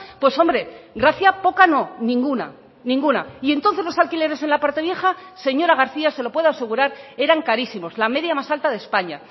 pues hombre gracia poca no ninguna ninguna y entonces los alquileres en la parte vieja señora garcía se lo puedo asegurar eran carísimos la media más alta de españa